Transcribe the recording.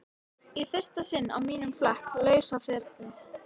Í fyrsta sinn á mínum flekk lausa ferli.